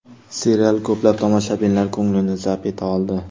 Serial ko‘plab tomoshabinlar ko‘nglini zabt eta oldi.